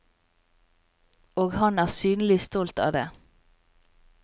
Og han er synlig stolt av det.